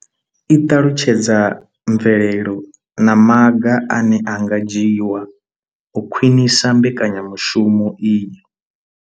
I ṱalutshedza mvelelo na maga ane a nga dzhiwa u khwinisa mbekanyamushumo iyi.